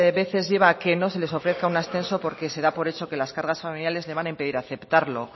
veces lleva a que no se les ofrezca un ascenso porque se da por hecho que las cargas familiares les van a impedir aceptarlo